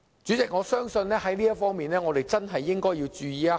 主席，我相信我們在這方面真的要注意一下。